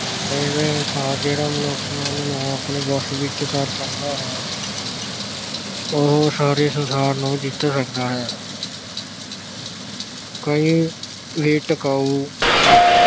ਅਜਿਹਾ ਇਹਸਾਸ ਜਿਹੜਾ ਮਨੁੱਖ ਨੂੰ ਆਪਣੇ ਵੱਸ ਵਿਚ ਕਰ ਸਕਦਾ ਹੈ। ਉਹ ਸਾਰੇ ਸੰਸਾਰ ਨੂੰ ਜਿੱਤ ਸਕਦਾ ਹੈ। ਕਈ ਵੀ ਟਿਕਾਊ